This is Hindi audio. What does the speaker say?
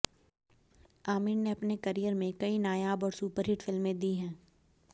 आमिर ने अपने करियर में कई नायाब और सुपरहिट फिल्म दी है